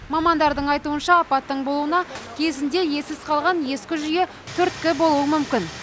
мамандардың айтуынша апаттың болуына кезінде иесіз қалған ескі жүйе түрткі болуы мүмкін